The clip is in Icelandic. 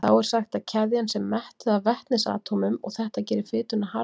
Þá er sagt að keðjan sé mettuð af vetnisatómum og þetta gerir fituna harða.